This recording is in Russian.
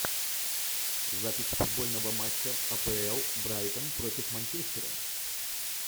запись футбольного матча апл брайтон против манчестера